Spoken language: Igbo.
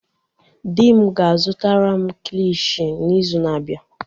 Dim ga-azutara m kilishi n'izu na-abịa.